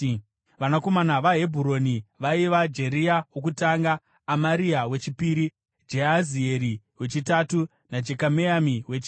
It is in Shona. Vanakomana vaHebhuroni vaiva: Jeria wokutanga, Amaria wechipiri, Jehazieri wechitatu naJekameami wechina.